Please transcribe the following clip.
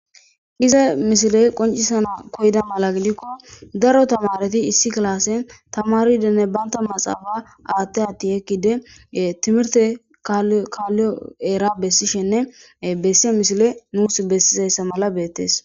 iza misile qoncisana koyda mala gidikko daro tamareti issi klaasen tamaridenne banta maxaafa aatte atti ekkide timirte kaalliyo eera bessishenne bessiye misile nuus bessizayssa mala beettees